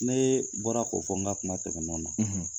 Ne ye baara ninnu ye.